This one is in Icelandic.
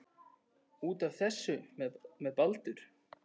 Út af. þessu með Baldur?